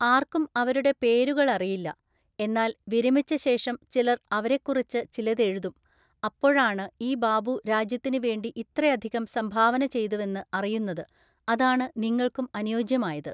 ആര്‍ക്കും അവരുടെ പേരുകള് അറിയില്ല, എന്നാല്‍ വിരമിച്ചശേഷം ചിലര്‍ അവരെക്കുറിച്ച് ചിലത് എഴുതും അപ്പോഴാണ് ഈ ബാബു രാജ്യത്തിന് വേണ്ടി ഇത്രയധികം സംഭാവന ചെയ്തുവെന്ന് അറിയുന്നത് അതാണ് നിങ്ങള്‍ക്കും അനുയോജ്യമായത്.